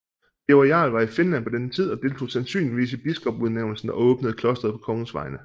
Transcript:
Birger jarl var i Finland på denne tid og deltog sansynligvis i biskopudnævnelsen og åbnede klosteret på kongens vegne